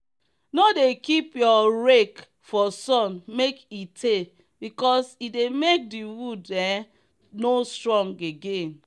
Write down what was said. no dey keep your rake for sun make e teybecause e dey make the wood um no strong again.